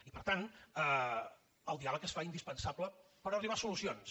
i per tant el diàleg es fa indispensable per arribar a solucions